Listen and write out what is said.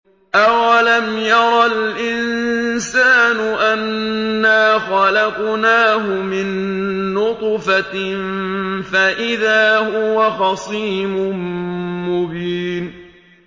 أَوَلَمْ يَرَ الْإِنسَانُ أَنَّا خَلَقْنَاهُ مِن نُّطْفَةٍ فَإِذَا هُوَ خَصِيمٌ مُّبِينٌ